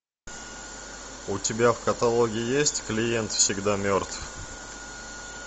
у тебя в каталоге есть клиент всегда мертв